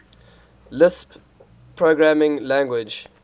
lisp programming language